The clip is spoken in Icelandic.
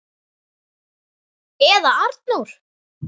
Eða Arnór!